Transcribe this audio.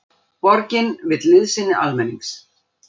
Borgin vill liðsinni almennings